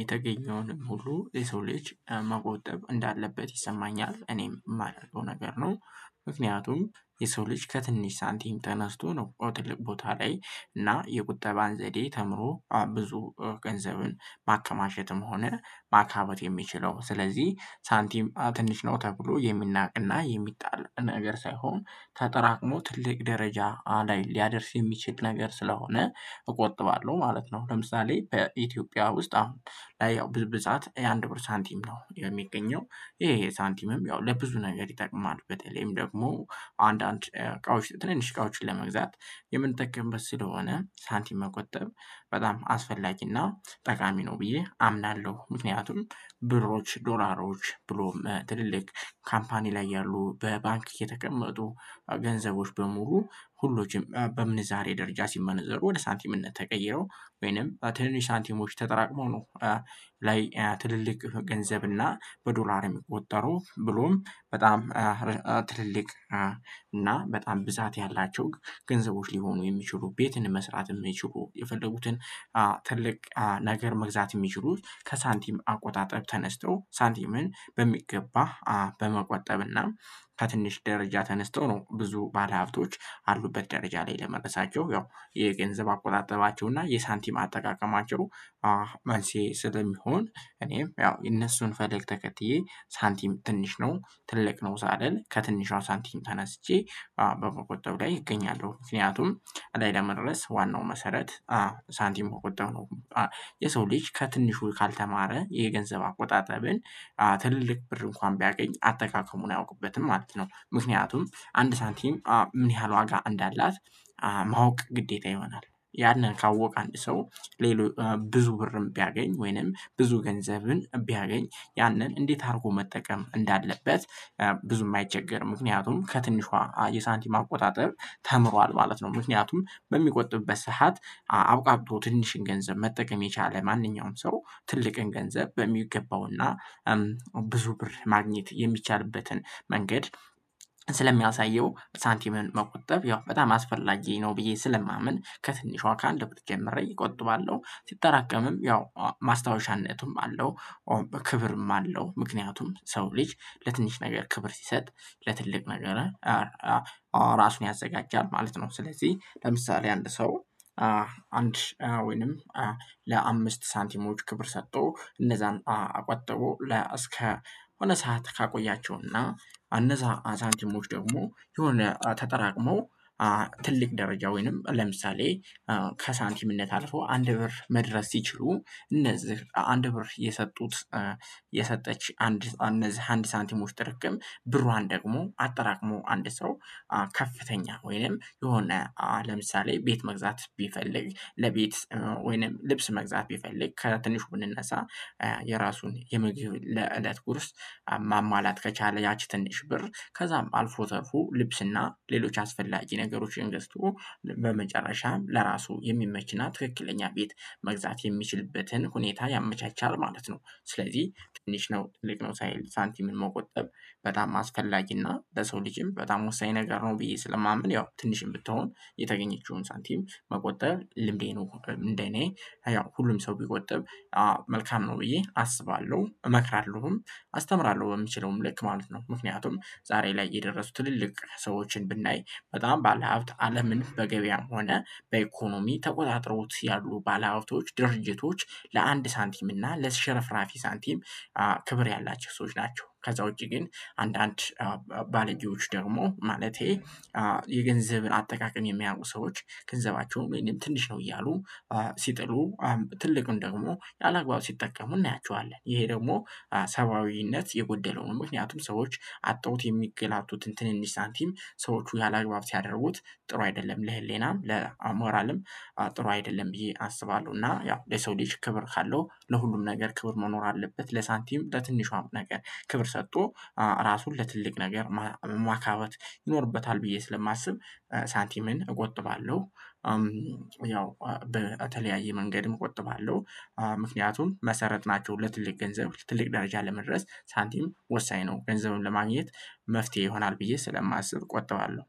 የተገኘውን ሙሉ የሰው ልጅ መቆጠብ እንዳለበት ይሰማኛል እኔም የማደርገው ነገር ነው። ምክንያቱም የሰው ልጅ ከትንሽ ሳንቲም ተነስቶ ነው ቦታ ቦታ ላይ እና የቁጠባን ዘዴ ተምሮ ብዙ ገንዘብን ማከማቸትም ሆነ ማካበት የሚችለው ስለዚህ ሳንቲም ትንሽ ነው ተብሎ የሚናቅና የሚጣል ነገር ሳይሆን ተጠራቅሞ ትልቅ ደረጃ ላይ ሊያደርስ የሚችል ነገር ስለሆነ እቆጥባለሁ ማለት ነው። ለምሳሌ በኢትዮጵያ ውስጥ አሁን ያው ብዙ ብዛት የአንድ ብር ሳንቲም ነው የሚገኘው ይሄ ሳንቲምም ለብዙ ነገር ይጠቅማል በተለይም ደግሞ አንዳንድ እቃዎች ትንንሽ እቃዎችን ለመግዛት የምንጠቀምበት ስለሆነ ሳንቲም መቆጠብ በጣም አስፈላጊና ጠቃሚ ነው ብዬ አምናለሁ። ምክንያቱም ብሮች ዶላሮች ብሎም ትልልቅ ካምፓኒ ላይ ያሉ በባንክ እየተቀመጡ ገንዘቦች በሙሉ ሁሉም በምንዛሬ ደረጃ ሲመነዘሩ ወደ ሳንቲምነት ተቀይረው ወይም በ ትንንሽ ሳንቲሞች ተጠራቅመው ነው። ላይ ትልቅ ገንዘብ እና በዶላር የሚቆጠሩ ብሎም በጣም ትልልቅ እና በጣም ብዛት ያላቸው ገንዘቦች ሊሆኑ የሚችሉት ቤትን መስራት የሚችሉት የፈለጉትን ትልቅ ነገር መግዛት የሚችሉት ከሳንቲም አቆጣጠብ ተነስቶ ሳንቲምን በሚገባ በመቆጠብና ከትንሽ ደረጃ ተነስቶ ነው ብዙ ባለሀብቶች ያሉበት ደረጃ ላይ ለመድረሳቸው ያው የገንዘብ አቆጣጠባቸው እና የሳንቲም አጠቃቀማቸው። መልስ ይሄ ስለሚሆን እኔም ያው የእነሱን ፈለግ ተከትዬ ሳንቲም ትንሽ ነው ትልቅ ነው ሳልል ከትንሿ ሳንቲም ተነስቼ በመቆጠብ ላይ እገኛለሁ ምክንያቱም አላማዬ ላይ ለመድረስ ዋናው መሰረት ሳንቲም በቁጠባ ነው። የሰው ልጅ ከትንሹ ካልተማረ የገንዘብ አቆጣጠብን ትልቅ ብር እንኳንም ቢያገኝ አጠቃቀሙን አያውቅበትም ማለት ነው ምክንያቱም አንድ ሳንቲም ምን ያህል ዋጋ እንዳላት ማወቅ ግዴታ ይሆናል ያንን ካወቀ አንድ ሰው ሌሎች ብዙ ብርም ቢያገኝ ወይንም ብዙ ገንዘብን ቢያገኝ ያንን እንዴት አድርጎ መጠቀም እንዳለበት ብዙ የማይቸገር ምክንያቱም ከትንሿ የሳንቲም አቆጣጠር ተምሯል ማለት ነው። ምክንያቱም በሚቆጥብበት ሰዓት አብቃቅቶ ትንሽ ገንዘብ መጠቀም የቻለ ማንኛውም ሰው ትልቅን ገንዘብ በሚገባውና ብዙ ብር ማግኘት የሚቻልበትን መንገድ ስለሚያሳየው ሳንቲምን መቆጠብ ያው በጣም አስፈላጊ ነው ብዬ ስለማምን ከትንሿ ከአንድ ብር ጀምሬ እቆጥባለሁ ሲጠራቀምም ያው ማስታወሻነቱም አለው። ክብርም አለው ምክንያቱም የሰው ልጅ ለትንሽ ነገር ክብር ሲሰጥ ለትልቅ ነገር ራሱን ያዘጋጃል ማለት ነው። ስለዚህ ለምሳሌ አንድ ሰው አንድ ሺ ወይንም ለአምስት ሳንቲሞች ክብር ሰጥቶ እነዛን ቆጥቦ ለ እስከ የሆነ ሰዓት ካቆያቸውና እነዛ ሳንቲሞች ደግሞ የሆነ ተጠራቅሞ ትልቅ ደረጃ ወይም ለምሳሌ ከሳንቲምነት አልፎ አንድ ብር መድረስ ሲችሉ እነዚህ አንድ ብር የሰጡት የሰጠች አንድ እነዚህ አንድ ሳንቲሞች ጥርቅም ብሯን ደግሞ አጠራቅሞ አንድ ሰው ከፍተኛ ወይም የሆነ ለምሳሌ ቤት መግዛት ቢፈልግ ለቤት ወይም ልብስ መግዛት ቢፈልግ ከትንሹ ብንነሳ የራሱን የ ለእለት ጉርስ ማሟላት ከቻለ ያቺ ትንሽ ብር ከዛም አልፎ ተርፎ ልብስና ሌሎች አስፈላጊ ነገሮችን ገዝቶ በመጨረሻም ለራሱ የሚመችና ትክክለኛ ቤት መግዛት የሚችልበትን ሁኔታ ያመቻቻል ማለት ነው። ስለዚህ ትንሽ ነው ትልቅ ነው ሳይል ሳንቲምን መቆጠብ በጣም አስፈላጊና ለሰው ልጅም በጣም ወሳኝ ነገር ነው ብዬ ስለማምን ያው ትንሽም ብትሆን የተገኘችውን ሳንቲም መቆጠብ ልምዴ ነው እንደ እኔ ያው ሁሉም ሰው ቢቆጥብ መልካም ነው ብዬ አስባለሁ እመክራለሁም አስተምራለሁም በምችለውም ልክ ማለት ነው። ምክንያቱም ዛሬ ላይ የደረሱት ትልልቅ ሰዎችን ብናይ በጣም ባለሀብት አለምን በገበያም ሆነ በኢኮኖሚ ተቆጣጥረውት ያሉ ባለሀብቶች ድርጅቶች ለአንድ ሳንቲም እና ለሽርፍራፊ ሳንቲም ክብር ያላቸው ሰዎች ናቸው። ከዛ ውጪ ግን አንዳንድ ባለጌዎች ደግሞ ማለቴ የገንዘብን አጠቃቀም የማያቁ ሰዎች ገንዘባቸውን ትንሽ ነው እያሉ ሲጥሉ ትልቁን ደግሞ ያለአግባብ ሲጠቀሙ እናያቸዋለን ይሄ ደግሞ ሰብአዊነት የጎደለው ነው ምክንያቱም ሰዎች አጠውት የሚንገላቱት ትንንሽ ሳንቲም ሰዎች ያለአግባብ ሲያደረጉት ጥሩ አይደለም ለሕሊናም ለሞራልም ጥሩ አይደለም። ብዬ አስባለሁ እና ያው የሰው ልጅ ክብር ካለው ለሁሉም ነገር ክብር መኖር አለበት ለሳንቲም ለትንሿም ነገር ክብር ሰጥቶ ራሱን ለትልቅ ነገር ማካበት ይኖርበታል ብዬ ስለማስብ ሳንቲምን እቆጥባለሁ። ያው በተለያየ መንገድም እቆጥባለሁ። ምክንያቱም መሰረት ናቸው ለትልቅ ገንዘብ ትልቅ ደረጃ ለመድረስ ሳንቲም ወሳኝ ነው ገንዘቡን ለማግኘት መፍትሄ ይሆናል ብዬ ስለማስብ እቆጥባለሁ።